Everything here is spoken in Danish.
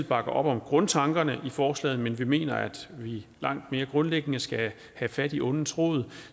bakker op om grundtankerne i forslaget men vi mener at vi langt mere grundlæggende skal have fat i ondets rod